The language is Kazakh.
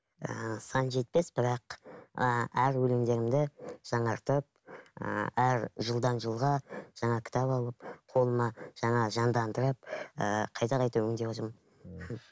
ыыы сан жетпес бірақ ыыы әр өлеңдерімді жаңартып ыыы әр жылдан жылға жаңа кітап алып қолыма жаңа жандандырып ыыы қайта қайта өңдеп отырмын